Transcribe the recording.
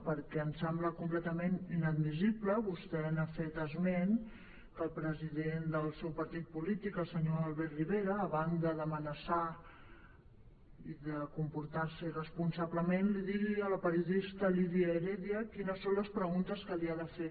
perquè em sembla completament inadmissible vostè n’ha fet esment que el president del seu partit polític el senyor albert rivera a banda d’amenaçar i de comportar se irresponsablement li digui a la periodista lídia heredia quines són les preguntes que li ha de fer